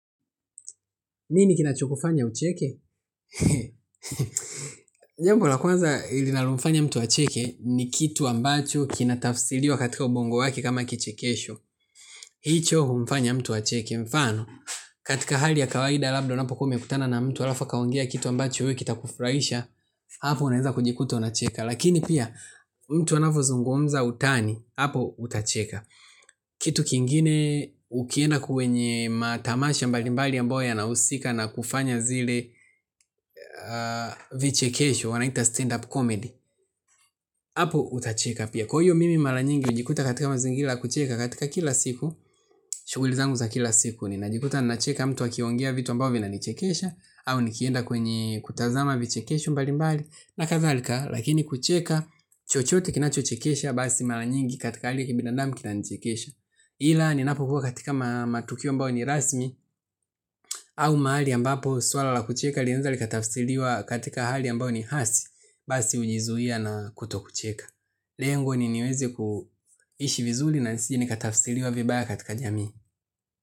Nini kinacho kufanya ucheke? Jambo la kwanza linalofanya mtu acheke ni kitu ambacho kinatafsiliwa katika ubongo wake kama kichekesho. Hicho humfanya mtu acheke mfano. Katika hali ya kawaida labda unapo kuwa umekutana na mtu alafu akaongea kitu ambacho we kitakufuraisha. Hapo unaeza kujikuta unacheka. Lakini pia mtu anavozungumza utani. Hapo utacheka. Kitu kingine ukienda kwenye matamasha mbalimbali ambayo yanahusika na kufanya zile vichekesho wanaita stand up comedy. Apo utacheka pia kwa hiyo mimi mala nyingi ujikuta katika mazingila la kucheka katika kila siku. Shuguli zangu za kila siku ninajikuta ninacheka mtu akiongea vitu ambao vinanichekesha au nikienda kwenye kutazama vichekesho mbalimbali na kadhalika lakini kucheka chochote kinachochekesha basi mala nyingi katika ali ya kibinadamu kinanichekesha. Ila ninapokuwa katika matukio ambao ni rasmi au mahali ambapo swala la kucheka linaeza likatafsiliwa katika hali ambao ni hasi, basi ujizuia na kuto kucheka. Lengo ni niwezi kuishi vizuli na nisije nikatafsiliwa vibaya katika jamii.